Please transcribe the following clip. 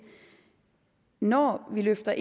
når vi løfter